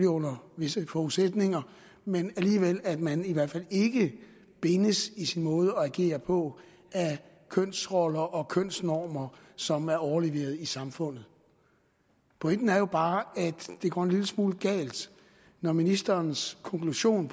under visse forudsætninger men alligevel at man i hvert fald ikke bindes i sin måde at agere på af kønsroller og kønsnormer som er overleveret i samfundet pointen er jo bare at det går en lille smule galt når ministerens konklusion